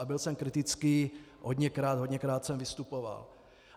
A byl jsem kritický hodněkrát, hodněkrát jsem vystupoval.